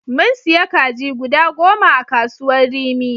Mun siya kaji goda goma a kasuwar rimi.